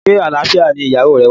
Se alfia ni iyawo re wa?